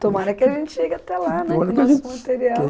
Tomara que a gente chegue até lá, né, com o nosso material.